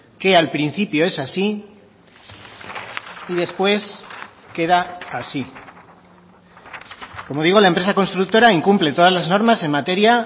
que al principio es así y después queda así como digo la empresa constructora incumple todas las normas en materia